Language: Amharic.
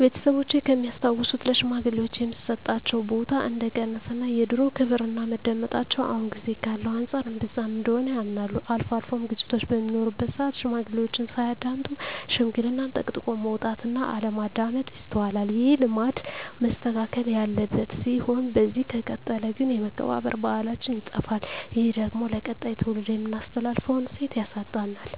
ቤተሰቦቼ ከሚያስታውሱት ለሽማግሌወች የሚሰጣቸው ቦታ እንደቀነሰ እና የድሮው ክብርና መደመጣቸው አሁን ጊዜ ካለው አንፃር እንብዛም እንደሆነ ያምናሉ። አልፎ አልፎም ግጭቶች በሚኖሩበት ስአት ሽማግሌዎችን ሳያዳምጡ ሽምግልናን ጠቅጥቆ መውጣት እና አለማዳመጥ ይስተዋላል። ይህ ልማድ መስተካከል ያለበት ሲሆን በዚህ ከቀጠለ ግን የመከባበር ባህላችን ይጠፋል። ይህ ደግሞ ለቀጣይ ትውልድ የምናስተላልፈውን እሴት ያሳጣናል።